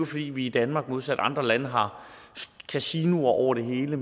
fordi vi i danmark modsat andre lande har kasinoer over det hele